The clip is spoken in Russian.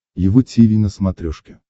его тиви на смотрешке